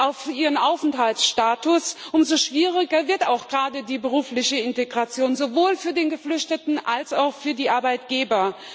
auf ihren Aufenthaltsstatus warten, umso schwieriger wird auch gerade die berufliche Integration, sowohl für den Geflüchteten als auch für die Arbeitgeber.